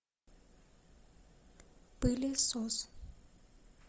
пылесос